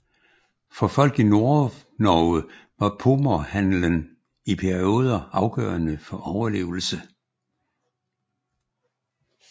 For folk i Nordnorge var pomorhandelen i perioder afgørende for overlevelse